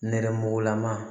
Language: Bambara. Nɛrɛmugugulama